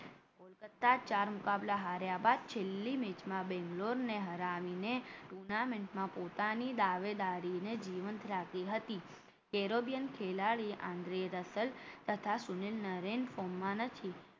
કોલકાતા ચાર મુકાબલા હાર્યા બાદ છેલ્લી match માં બેંગલોર ને હરાવીને tournament માં પોતાની દાવેદારીને જીવંત રાખી હતી એરોબિયન ખેલાડીએ આંતરે રસલ તથા સુનિલ નારાયણ form માં નથી